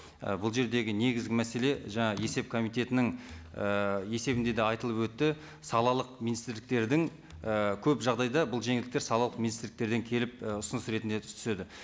і бұл жердегі негізгі мәселе жаңа есеп комитетінің і есебінде де айтылып өтті салалық министрліктердің і көп жағдайда бұл жеңілдіктер салалық министрліктерден келіп і ұсыныс ретінде түседі